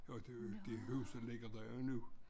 Og det det huset ligger der jo nu